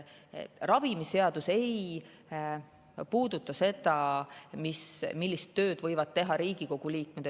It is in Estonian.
Ravimiseadus ei puuduta seda, millist tööd võivad teha Riigikogu liikmed.